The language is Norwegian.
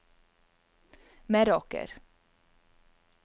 Meråker